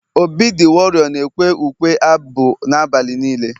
obi the warrior na ekwe ukwe-abụ na abalị nilee